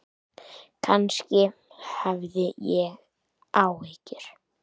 Kannski hafði ég áhyggjur.